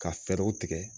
Ka fɛɛrɛw tigɛ